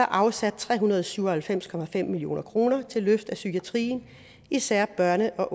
afsat tre hundrede og syv og halvfems million kroner til løft af psykiatrien især børne og